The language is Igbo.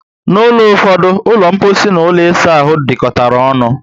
N'ulo ụfọdụ, ulo mposi and ụlọ isa ahụ dikotara ọṅụ